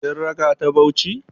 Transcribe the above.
Kin raka ta Bauchi?